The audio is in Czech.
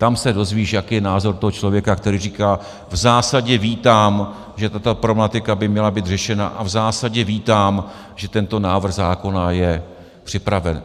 Tam se dozvíš, jaký je názor toho člověka, který říká: V zásadě vítám, že tato problematika by měla být řešena, a v zásadě vítám, že tento návrh zákona je připraven.